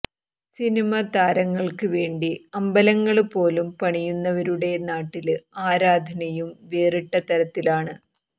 cinema താരങ്ങള്ക്ക് വേണ്ടി അമ്പലങ്ങള് പോലും പണിയുന്നവരുടെ നാട്ടില് ആരാധനയും വേറിട്ട തരത്തിലാണ്